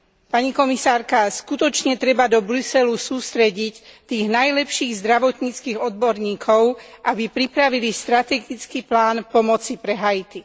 Pani komisárka, skutočne treba do Bruselu sústrediť tých najlepších zdravotníckych odborníkov, aby pripravili strategický plán pomoci pre Haiti.